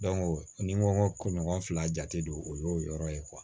ni n ko ɲɔgɔn fila jate don o y'o yɔrɔ ye